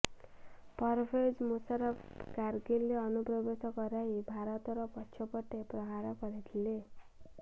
ପରଭେଜ୍ ମୁସାରଫ୍ କାରଗିଲରେ ଅନୁପ୍ରବେଶ କରାଇ ଭାରତର ପଛ ପଟେ ପ୍ରହାର କରିଥିଲେ